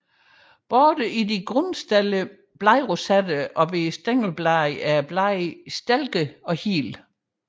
Både i de grundstillede bladrosetter og hos stængelbladene er bladene stilkede og hele